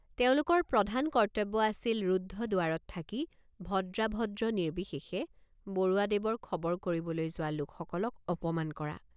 তেওঁলোকৰ প্ৰধান কৰ্তব্য আছিল ৰুদ্ধ দুৱাৰত থাকি ভদ্ৰাভদ্ৰ নিৰ্বিশেষে বৰুৱাদেৱৰ খবৰ কৰিবলৈ যোৱা লোকসকলক অপমান কৰা।